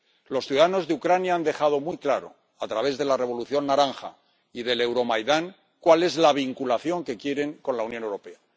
Los ciudadanos de Ucrania han dejado muy claro, a través de la Revolución Naranja y del Euromaidán, cuál es la vinculación que quieren con la Unión Europea.